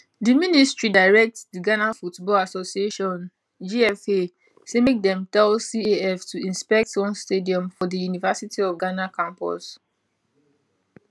di ministry direct di ghana football association gfa say make dem tell caf to inspect one stadium for di university of ghana campus